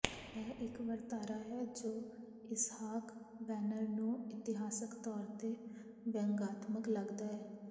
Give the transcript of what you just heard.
ਇਹ ਇਕ ਵਰਤਾਰਾ ਹੈ ਜੋ ਇਸਹਾਕ ਵੈਨਰ ਨੂੰ ਇਤਿਹਾਸਕ ਤੌਰ ਤੇ ਵਿਅੰਗਾਤਮਕ ਲੱਗਦਾ ਹੈ